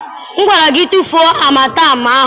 M gwara gị tufuo amatem ahụ!